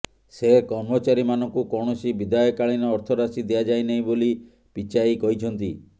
ସେ କର୍ମଚାରୀମାନଙ୍କୁ କୌଣସି ବିଦାୟକାଳୀନ ଅର୍ଥରାଶି ଦିଆଯାଇ ନାହିଁ ବୋଲି ପିଚାଇ କହିଛନ୍ତି